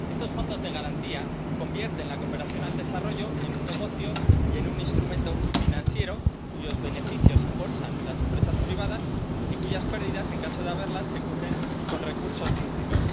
Estos fondos de garantía convierten la cooperación al desarrollo en un negocio y en un instrumento financiero cuyos beneficios se embolsan las empresas privadas y cuyas pérdidas, en caso de haberlas, se cubren con recursos públicos.